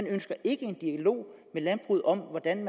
ønsker ikke en dialog med landbruget om hvordan